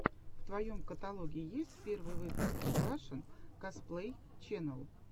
в твоем каталоге есть первый выпуск рашэн косплей ченел